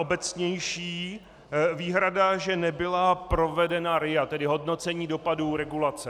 Obecnější výhrada, že nebyla provedena RIA, tedy hodnocení dopadů regulace.